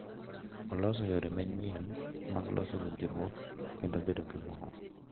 Oloso yore manyien mag loso winjruok kendo bedo gi mor.